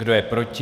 Kdo je proti?